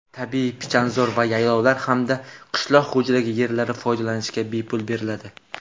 tabiiy pichanzor va yaylovlar hamda qishloq xo‘jaligi yerlari foydalanishga bepul beriladi.